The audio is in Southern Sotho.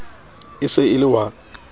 e se e le wa